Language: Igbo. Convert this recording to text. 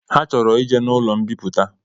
Ha chọrọ ije n’ụlọ mbipụta